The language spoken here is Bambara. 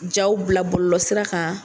Jaw bila bɔlɔlɔsira kan.